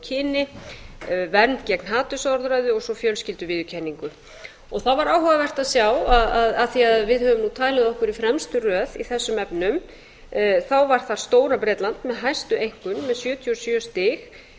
kyni vernd gegn hatursorðræðu og svo fjölskylduviðurkenningu það var áhugavert að sjá af því að við höfum talið okkur í fremstu röð í þessum efnum þá var það stóra bretland með hæstu einkunn með sjötíu og sjö stig